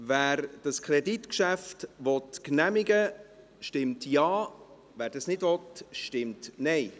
Wer das Kreditgeschäft genehmigen will, stimmt Ja, wer dies nicht will, stimmt Nein.